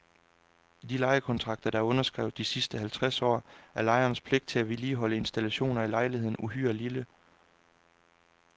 I de lejekontrakter, der er underskrevet de sidste halvtreds år, er lejernes pligt til at vedligeholde installationer i lejligheden uhyre lille.